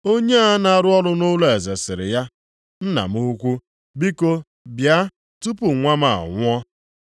Onye a na-arụ ọrụ nʼụlọeze sịrị ya, “Nna m ukwu, biko bịa tupu nwa m a nwụọ.”